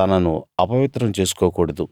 తనను అపవిత్రం చేసుకోకూడదు